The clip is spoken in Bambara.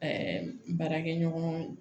Ɛɛ baarakɛɲɔgɔn